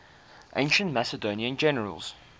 ancient macedonian generals